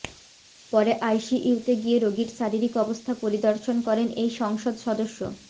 পরে আইসিইউতে গিয়ে রোগীর শারীরিক অবস্থা পরিদর্শন করেন এই সংসদ সদস্য